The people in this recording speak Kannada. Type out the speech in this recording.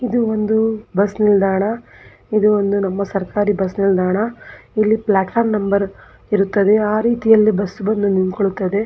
ಇದು ಒಂದು ಬಸ್ ನಿಲ್ದಾಣ ಇದು ಒಂದು ನಮ್ಮ ಸರಕಾರಿ ಬಸ್ ನಿಲ್ದಾಣ ಇಲ್ಲಿ ಪ್ಲಾಟ್ ಫಾರ್ಮ್ ನಂಬರ್ ಇರುತ್ತದೆ ಆ ರೀತಿ ಬಸ್ ಬಂದು ನಿಂತ್ಕೊಳ್ತಾವೆ.